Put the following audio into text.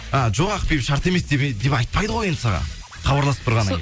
ы жоқ ақбибі шарт емес деп айпайды ғой енді саған хабарласып тұрғаннан